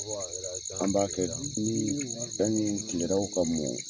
Ko a yera an b'a kɛ di? Nii sani tileraw ka mɔ